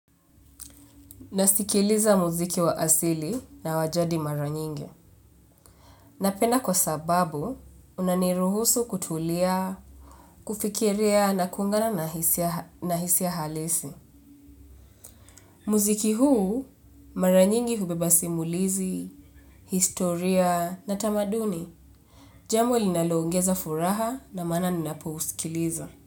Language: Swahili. Nasikiliza muziki wa asili na wa jadi mara nyingi. Napenda kwa sababu, unaniruhusu kutulia, kufikiria na kuungana na hisia halisi. Muziki huu, mara nyingi hubeba simulizi, historia, na tamaduni. Jambo ilinaloongeza furaha ndio maana ninapousikiliza.